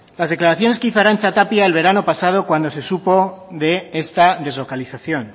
las declaraciones que hizo arantza tapia el verano pasado cuando se supo de esta deslocalización